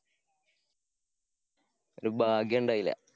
ഒരു ഭാഗ്യണ്ടായില്ലാ.